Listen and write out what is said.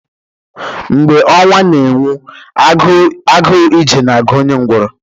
Mgbe ọnwa na-enwu, agụụ ije na-agụ onye ngwọrọ